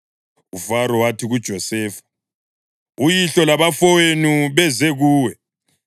UFaro wathi kuJosefa, “Uyihlo labafowenu beze kuwe,